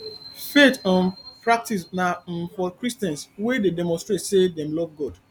faith um practices na um for christians wey de demonstrate say dem love god